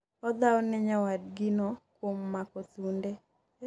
odhawo ne nyawadgi no kuom mako thunde